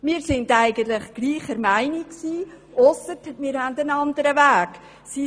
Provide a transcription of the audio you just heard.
Wir sind eigentlich derselben Meinung gewesen, ausser dass wir einen anderen Weg haben.